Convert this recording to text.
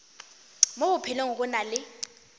mo bophelong go na le